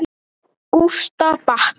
Gústa batnar.